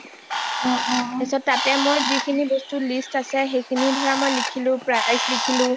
পিছত তাতে মোৰ যিখিনি বস্তু list আছে সেইখিনি ধৰা মই লিখিলো price লিখিলোঁ